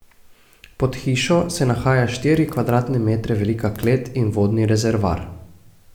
Pod hišo se nahaja štiri kvadratne metre velika klet in vodni rezervoar.